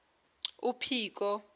uphiko